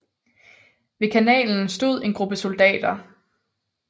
Ved kanalen stod en gruppe soldater